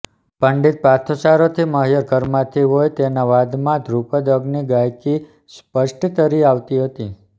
પંડિત પાર્થો સારોથી મહિયર ઘરાનામાંથી હોય તેના વાદનમાં ધ્રુપદ અંગની ગાયકિ સ્પષ્ટ તરી આવતી હતી